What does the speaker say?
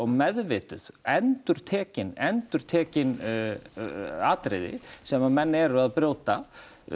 meðvituð endurtekin endurtekin atriði sem að menn eru að brjóta